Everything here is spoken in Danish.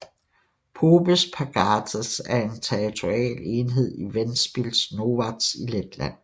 Popes pagasts er en territorial enhed i Ventspils novads i Letland